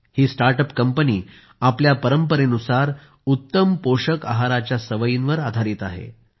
ही startup company आपल्या परंपरेनुसार उत्तम पोषक आहाराच्या सवयीवर आधारित आहे